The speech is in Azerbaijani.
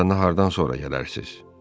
Onda nahardan sonra gələrsiz.